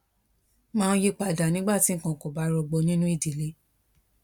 máa ń yí pa dà nígbà tí nǹkan ò bá rọgbọ nínú ìdílé